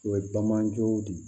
O ye bamananjow de ye